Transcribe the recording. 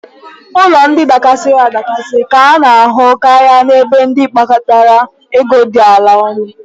Ụlọ ndị dakasiri adakasi ka a na-ahụ karị n'ebe ndị mkpata ego dị ala nọ.